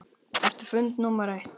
Eftir fund númer eitt.